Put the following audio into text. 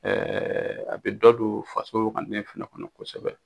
a bɛ dɔ don faso wagane fana kɔnɔ kosɛbɛ.